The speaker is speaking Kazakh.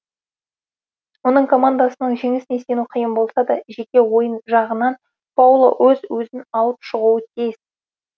оның командасының жеңісіне сену қиын болса да жеке ойын жағынан пауло өз өзін алып шығуы тиіс